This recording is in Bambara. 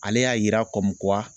Ale y'a yira